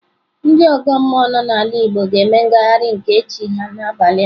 Ndị ọgọ mmụọ nọ n'ala Igbo ga-eme ngagharị nke chi ha n'abalị a.